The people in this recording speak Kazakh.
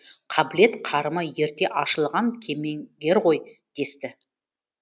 қабілет қарымы ерте ашылған кемеңгер ғой десті